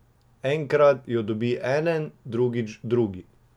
Enkrat jo dobi eden, drugič drugi.